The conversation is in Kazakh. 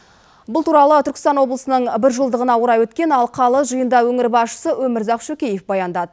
бұл туралы түркістан облысының бір жылдығына орай өткен алқалы жиында өңір басшысы өмірзақ шөкеев баяндады